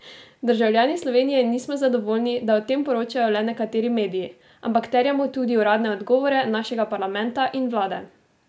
Državljani Slovenije nismo zadovoljni, da o tem poročajo le nekateri mediji, ampak terjamo tudi uradne odgovore našega parlamenta in vlade!